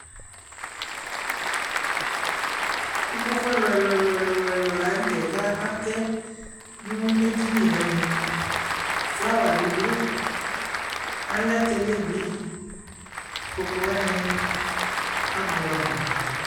Ikpoku ɛluɛluɛlu lanutɛ kakatɛnuedini nɛmɛ flawabi du alɛ tele bi Ikpokuwani abuamu